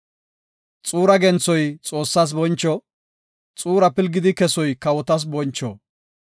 Xuura genthoy Xoossas boncho; xuura pilgidi kesoy kawotas boncho.